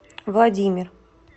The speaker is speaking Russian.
владимир